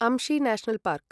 Anshi national park